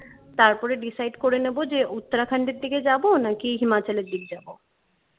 তারপরে decide করে নেবো যে Uttarakhand এর থেকে যাব নাকি himachal এর দিকে যাবো